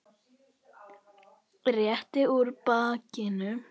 Rétti úr bakinu.